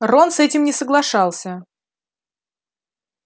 рон с этим не соглашался